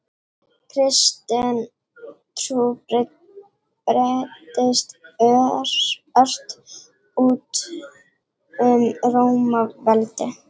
Kristin trú breiddist ört út um Rómaveldi.